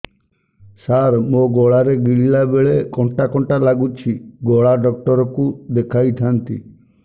ସାର ମୋ ଗଳା ରେ ଗିଳିଲା ବେଲେ କଣ୍ଟା କଣ୍ଟା ଲାଗୁଛି ଗଳା ଡକ୍ଟର କୁ ଦେଖାଇ ଥାନ୍ତି